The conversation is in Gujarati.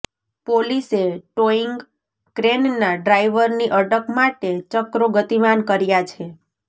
પોલીસે ટોઈંગ ક્રેનના ડ્રાઈવરની અટક માટે ચક્રો ગતિમાન કર્યા છે